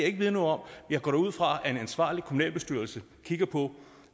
ikke vide noget om jeg går da ud fra at en ansvarlig kommunalbestyrelse kigger på